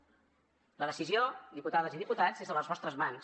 la decisió diputades i diputats és a les vostres mans